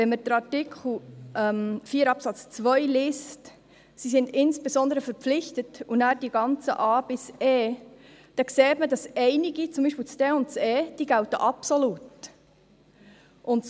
Wenn wir Artikel 4 Absatz 2 lesen – «Sie sind insbesondere verpflichtet» – und nachher die ganzen a–e, dann sieht man, dass einige – beispielsweise d und e – absolut gelten.